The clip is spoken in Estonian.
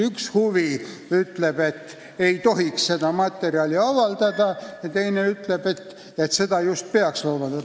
Üks pool ütleb, et seda materjali ei tohiks avaldada, ja teine ütleb, et selle just peaks avaldama.